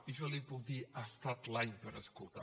i jo li puc dir ha estat l’any per escoltar